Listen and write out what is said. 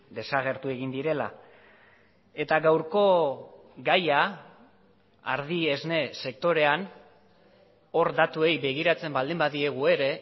desagertu egin direla eta gaurko gaia ardi esne sektorean hor datuei begiratzen baldin badiegu ere